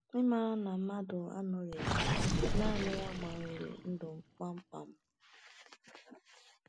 Ịmara na mmadụ anọghị naanị ya gbanwere gbanwere ndụ m kpamkpam.